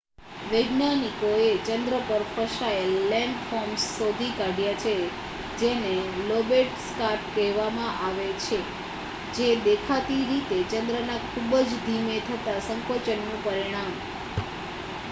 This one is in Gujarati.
વૈજ્ઞાનિકોએ ચંદ્ર પર ફેલાયેલ લેન્ડફોર્મ્સ શોધી કાઢ્યા છે જેને લોબેટ સ્કાર્પ કહેવામાં આવે છે જે દેખીતી રીતે ચંદ્રના ખુબ જ ધીમે થતા સંકોચનનું પરિણામ